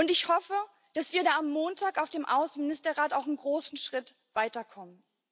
Ich hoffe, dass wir da am Montag auf dem Außenministerrat auch einen großen Schritt weiterkommen.